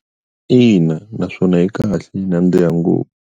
Ina naswona yi kahle yi nandziha ngopfu.